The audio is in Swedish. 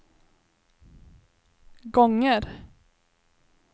gånger